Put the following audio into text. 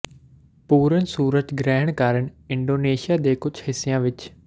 ਪੂਰਨ ਸੂਰਜ ਗ੍ਰਹਿਣ ਕਾਰਨ ਇੰਡੋਨੇਸ਼ੀਆ ਦੇ ਕੁਝ ਹਿੱਸਿਆਂ ਵਿਚ